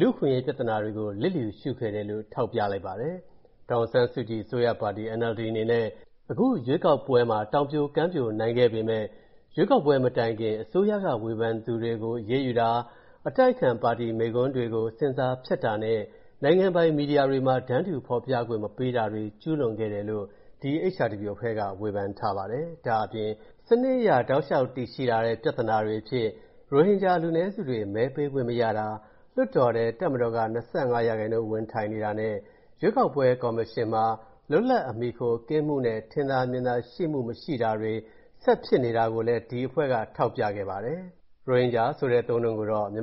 လူ့အခွင့်အရေးပြဿနာတွေကို လျစ်လျူရှုခဲ့တယ်လို့ ထောက်ပြလိုက်ပါတယ်။ ဒေါ်အောင်ဆန်းစုကြည်အစိုးရပါတီ NLD အနေနဲ့ အခုရွေးကောက်ပွဲမှာ တောင်ပြိုကမ်းပြိုနိုင်ခဲ့ပေမဲ့ ရွေးကောက်ပွဲမတိုင်ခင် အစိုးရက ဝေဖန်သူတွေကို အရေးယူတာ၊ အတိုက်အခံပါတီမိန့်ခွန်းတွေကို ဆင်ဆာဖြတ်တာနဲ့ နိုင်ငံပိုင်သတင်းမီဒီယာတွေမှာ တန်းတူဖော်ပြခွင့်မပေးတာတွေ ကျူးလွန်ခဲ့တယ်လို့ ဒီ HRW အဖွဲ့က ဝေဖန်ထားပါတယ်။ ဒါ့အပြင် စနစ်အရတည်ရှိလာနေတဲ့ ပြဿနာတွေအဖြစ် ရိုဟင်ဂျာလူနည်းစုတွေ မဲပေးခွင့်မရတာ၊ လွှတ်တော်ထဲ တပ်မတော်က ၂၅% ဝင်ထိုင်နေတာနဲ့ ရွေးကောက်ပွဲကော်မရှင် လွတ်လပ်အမီအခုကင်းမှု၊ ထင်သာမြင်သာပွင့်ပွင့်လင်းလင်း မရှိတာတွေ ဆက်ဖြစ်နေတာကိုလည်း ဒီအဖွဲ့က ထောက်ပြခဲ့ပါတယ်။ ရိုဟင်ဂျာအသုံးအနှုန်းကိုတော့ မြ